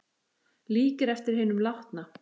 Líkir eftir hinum látna